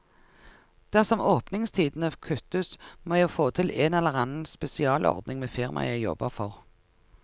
Dersom åpningstidene kuttes, må jeg få til en eller annen spesialordning med firmaet jeg jobber for.